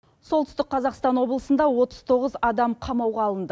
солтүстік қазақстан облысында отыз тоғыз адам қамауға алынды